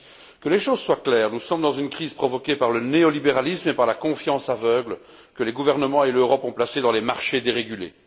Que les choses soient claires nous sommes dans une crise provoquée par le néolibéralisme et par la confiance aveugle que les gouvernements et l'Europe ont placée dans les marchés dérégulés.